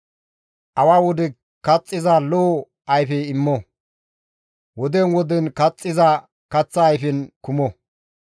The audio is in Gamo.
Awa wode kaxxiza lo7o ayfe immo; woden woden kaxxiza kaththa ayfen kumo.